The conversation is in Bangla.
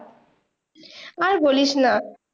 আর বলিসনা